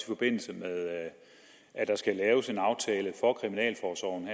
forbindelse med at der skal laves en aftale for kriminalforsorgen